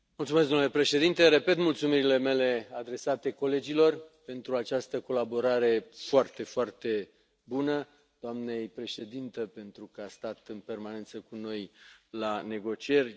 Domnule președinte, repet mulțumirile mele adresate colegilor pentru această colaborare foarte, foarte bună, doamnei președintă, pentru că a stat în permanență cu noi la negocieri.